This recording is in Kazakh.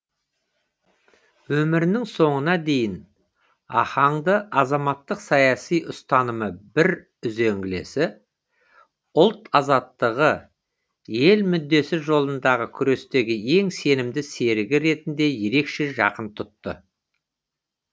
өмірінің соңына дейін ахаңды азаматтық саяси ұстанымы бір үзеңгілесі ұлт азаттығы ел мүддесі жолындағы күрестегі ең сенімді серігі ретінде ерекше жақын тұтты